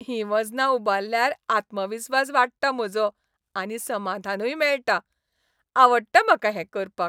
हीं वजनां उबारल्यार आत्मविस्वास वाडटा म्हजो आनी समाधानूय मेळटा. आवडटा म्हाका हें करपाक.